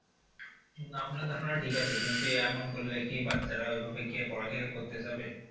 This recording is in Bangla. উম আপনার ধারণাও ঠিক আছে কিন্তু এমন করলে কি বাচ্চারা ওইভাবে কি আর পড়ালেখা করতে চাইবে?